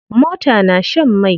Mota na shan mai.